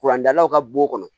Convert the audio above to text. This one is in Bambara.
Kuran dalaw ka bo kɔnɔ